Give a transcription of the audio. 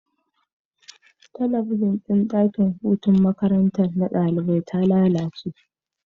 Talabijin dakin gama gari na makaranta ya lalache